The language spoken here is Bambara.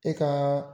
E ka